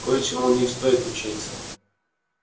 кое-чему у них стоит учиться